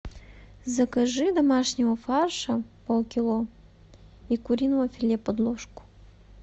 закажи домашнего фарша полкило и куриного филе подложку